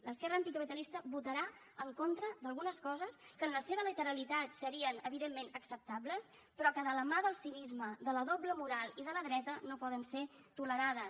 l’esquerra anticapitalista votarà en contra d’algunes coses que en la seva literalitat serien evidentment acceptables però que de la mà del cinisme de la doble moral i de la dreta no poden ser tolerades